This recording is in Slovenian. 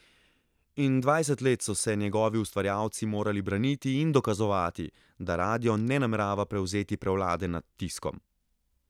In dvajset let so se njegovi ustvarjalci morali braniti in dokazovati, da radio ne namerava prevzeti prevlade nad tiskom.